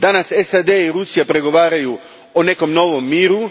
Danas SAD i Rusija pregovaraju o nekom novom miru.